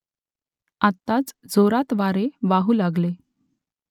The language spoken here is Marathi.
आत्ताच जोरात वारे वाहू लागले